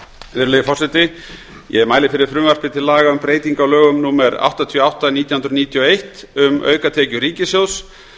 virðulegi forseti ég mæli fyrir frumvarpi til laga um breytingu á lögum númer áttatíu og átta nítján hundruð níutíu og eitt um aukatekjur ríkissjóðs